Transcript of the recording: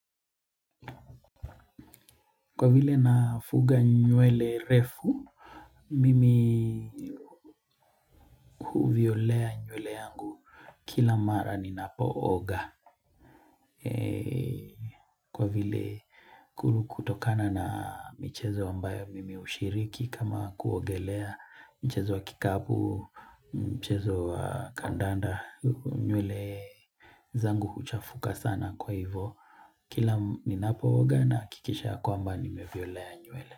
Kwa vile nafuga nywele refu, mimi huviolea nywele kila mara ninapooga. Kwa vile kutokana na michezo ambayo mimi hushiriki kama kuogelea mchezo wa kikapu, mchezo wa kandanda, nywele zangu huchafuka sana kwa hivo. Kila ninapooga nahakikisha ya kwamba nimeviolea nywele.